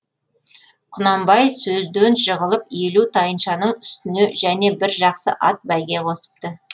құнанбай сөзден жығылып елу тайыншаның үстіне және бір жақсы ат бәйге қосыпты